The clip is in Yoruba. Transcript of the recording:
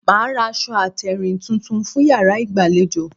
Màá ra aṣọ àtèrìn tuntun fún yàrá ìgbàlejò